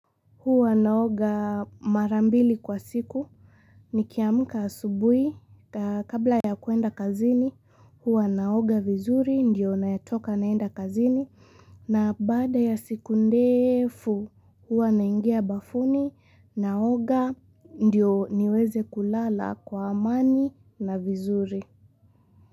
Huwa naoga mara mbili kwa siku. Nikiamka asubuhi, kabla ya kwenda kazini, huwa naoga vizuri, ndiyo nayetoka naenda kazini. Na baada ya siku ndefu, huwa naingia bafuni, naoga, ndiyo niweze kulala kwa amani na vizuri.